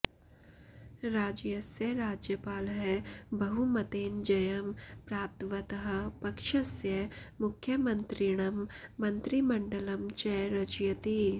राज्यस्य राज्यपालः बहुमतेन जयं प्राप्तवतः पक्षस्य मुख्यमन्त्रिणं मन्त्रिमण्डलं च रचयति